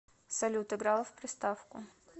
салют играла в приставку